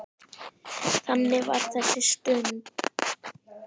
Þannig var þessi stund.